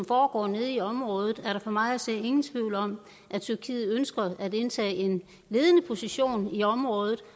foregår i området er der for mig at se ingen tvivl om at tyrkiet ønsker at indtage en ledende position i området